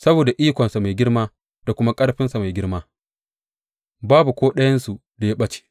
Saboda ikonsa mai girma da kuma ƙarfinsa mai girma, babu ko ɗayansu da ya ɓace.